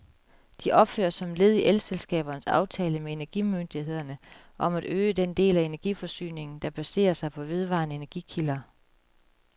De opføres som led i elselskabernes aftale med energimyndighederne om at øge den del af energiforsyningen, der baserer sig på vedvarende energikilder.